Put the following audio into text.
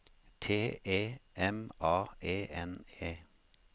T E M A E N E